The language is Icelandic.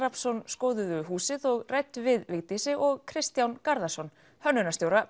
skoðuðu húsið og ræddu við Vigdísi og Kristján Garðarsson hönnunarstjóra